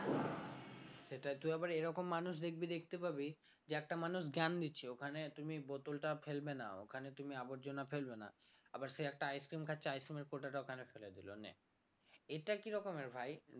সেটা তুই আবার এরকম মানুষ দেখবি দেখতে পাবি যে একটা মানুষ জ্ঞান দিচ্ছে ওখানে তুমি bottle টা ফেলবে না ওখানে তুমি আবর্জনা ফেলবে না আবার সে একটা ice cream খাচ্ছে ice cream এর খোসাটা ওখানে ফেলে দিল নে এটা কি রকমের ভাই